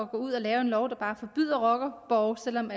gå ud og lave en lov der bare forbyder rockerborge selv om